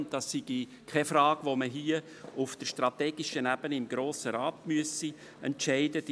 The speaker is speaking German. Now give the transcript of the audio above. Dies sei keine Frage, die man auf der strategischen Ebene im Grossen Rat entscheiden müsse.